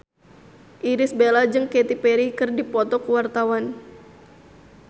Irish Bella jeung Katy Perry keur dipoto ku wartawan